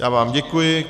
Já vám děkuji.